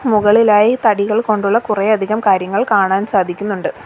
മുകളിലായി തടികൾ കൊണ്ടുള്ള കുറെയധികം കാര്യങ്ങൾ കാണാൻ സാധിക്കുന്നുണ്ട്.